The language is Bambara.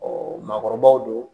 maakɔrɔbaw don